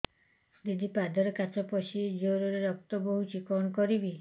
ଦିଦି ପାଦରେ କାଚ ପଶି ଜୋରରେ ରକ୍ତ ବାହାରୁଛି କଣ କରିଵି